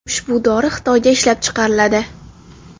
Ushbu dori Xitoyda ishlab chiqariladi.